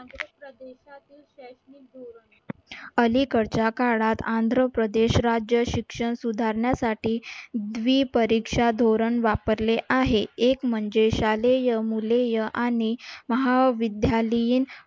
अलीकडच्या काळात आंध्रप्रदेश राज्य शिक्षण सुधारण्यासाठी द्वीपरिक्षा धोरण वापरले आहे. एक म्हणजे शालेय मुलेय आणि महाविद्यालयीन